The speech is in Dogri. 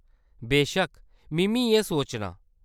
बेशक्क, मि'म्मी इ'यै सोचनां।